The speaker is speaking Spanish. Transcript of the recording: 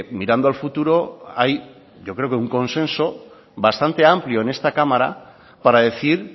mirando al futuro hay yo creo que un consenso bastante amplio en esta cámara para decir